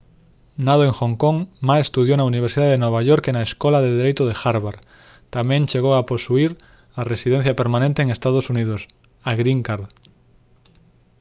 nado en hong kong ma estudou na universidade de nova york e na escola de dereito de harvard; tamén chegou a posuír a residencia permanente en ee. uu.: a «green card»